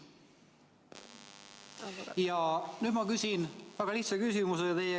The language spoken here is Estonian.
Ja nüüd ma küsin teie käest väga lihtsa küsimuse.